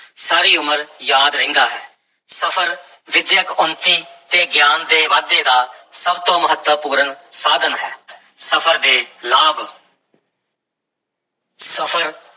ਸਾਰੀ ਉਮਰ ਯਾਦ ਰਹਿੰਦਾ ਹੈ, ਸਫ਼ਰ ਵਿੱਦਿਅਕ ਉੱਨਤੀ ਤੇ ਗਿਆਨ ਦੇ ਵਾਧੇ ਦਾ ਸਭ ਤੋਂ ਮਹੱਤਵਪੂਰਨ ਸਾਧਨ ਹੈ ਸਫ਼ਰ ਦੇ ਲਾਭ ਸਫ਼ਰ